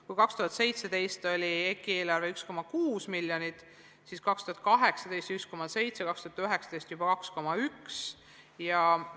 Kui 2017. aastal oli EKI eelarve 1,6 miljonit, siis 2018 oli see 1,7 miljonit ja 2019 juba 2,1 miljonit eurot.